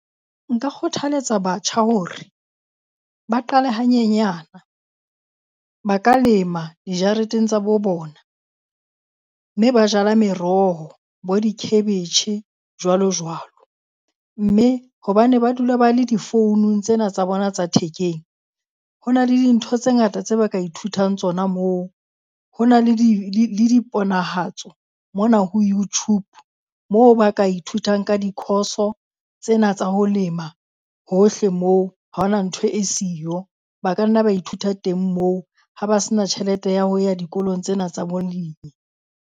Nka kgothaletsa batjha hore ba qale hanyenyana. Ba ka lema dijareteng tsa bo bona, mme ba jala meroho bo di-cabbage jwalo jwalo. Mme hobane ba dula ba le di-phone-ung tsena tsa bona tsa thekeng, ho na le dintho tse ngata tse ba ka ithutang tsona moo. Ho na le di le le diponahatso mona ho YouTube, moo ba ka ithutang ka di-course-o tsena tsa ho lema. Hohle moo, ha ho na ntho e siyo, ba ka nna ba ithuta teng moo ha ba se na tjhelete ya ho ya dikolong tsena tsa bolemi.